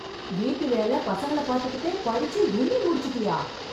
வீட்டு வேல, பசங்கள பாத்துகிட்டே, படிச்சு, எம்ஏ முடிச்சிட்டியா...